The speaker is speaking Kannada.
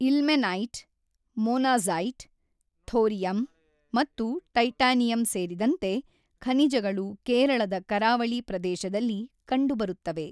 ಇಲ್ಮೆನೈಟ್, ಮೊನಾಝೈಟ್, ಥೋರಿಯಂ, ಮತ್ತು ಟೈಟಾನಿಯಂ ಸೇರಿದಂತೆ ಖನಿಜಗಳು ಕೇರಳದ ಕರಾವಳಿ ಪ್ರದೇಶದಲ್ಲಿ ಕಂಡುಬರುತ್ತವೆ.